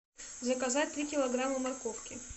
заказать три килограмма морковки